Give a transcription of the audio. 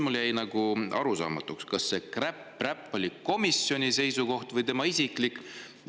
Mulle jäi arusaamatuks, kas see kräpp või räpp oli komisjoni seisukoht või tema isiklik seisukoht.